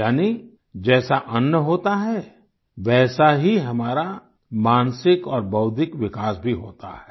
यानी जैसा अन्न होता है वैसा ही हमारा मानसिक और बौद्धिक विकास भी होता है